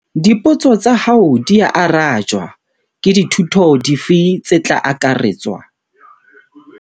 Dipotso tsa hao dia arajwa. Ke dithuto dife tse tla akaretswa?